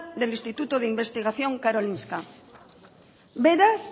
del instituto de investigación karolinska beraz